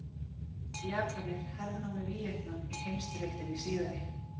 Japanir hernámu Víetnam í heimsstyrjöldinni síðari.